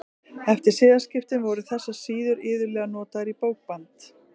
Eftir siðaskiptin voru þessar síður iðulega notaðar í bókband.